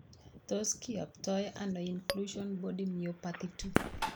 Tos kiyoptoi ano Inclusion body myopathy 2?